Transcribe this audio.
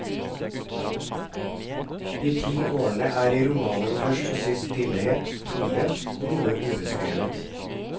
De ti årene er i romanen først og sist stillhet, tomhet, noe ubeskrevet.